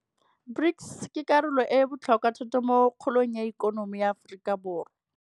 BRICS ke karolo e e botlhokwa thata mo kgolong ya ikonomi ya Aforika Borwa.